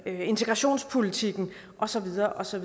integrationspolitikken og så videre og så